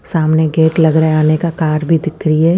सामने एक गेट लग रहा है आने का कार भी दिख रही है।